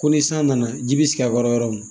Ko ni san nana ji bɛ sigi a kɔrɔ yɔrɔ mun